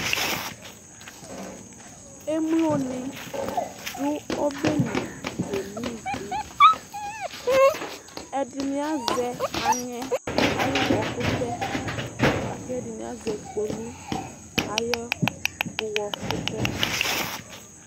emloni dʋ ɔbeli ke no ivi ɛdini azɛ anyɛ ayʋwɔkʋtɛ lakɛdini azɛ kpolʋ ayʋwɔkʋtɛ